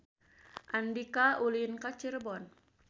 Andika ulin ka Cirebon